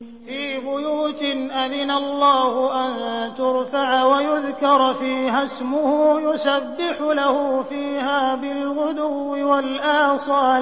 فِي بُيُوتٍ أَذِنَ اللَّهُ أَن تُرْفَعَ وَيُذْكَرَ فِيهَا اسْمُهُ يُسَبِّحُ لَهُ فِيهَا بِالْغُدُوِّ وَالْآصَالِ